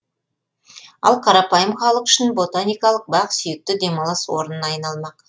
ал қарапайым халық үшін ботаникалық бақ сүйікті демалыс орнына айналмақ